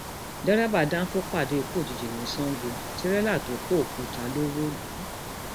derébà dánfọ pàdé ikú òjijì ní sango tirẹla tó kọ òkúta ló wó lù ú